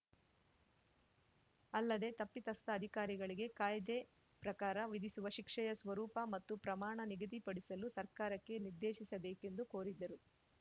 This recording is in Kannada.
ಅಲ್ಲದೆ ತಪ್ಪಿತಸ್ಥ ಅಧಿಕಾರಿಗಳಿಗೆ ಕಾಯ್ದೆ ಪ್ರಕಾರ ವಿಧಿಸುವ ಶಿಕ್ಷೆಯ ಸ್ವರೂಪ ಮತ್ತು ಪ್ರಮಾಣ ನಿಗದಿಪಡಿಸಲು ಸರ್ಕಾರಕ್ಕೆ ನಿರ್ದೇಶಿಸಬೇಕೆಂದು ಕೋರಿದ್ದರು